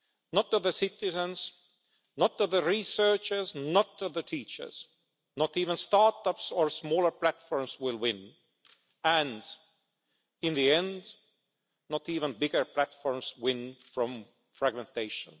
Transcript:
not the citizens, not the researchers, not the teachers, not even start-ups or smaller platforms will win, and in the end not even bigger platforms win from fragmentation.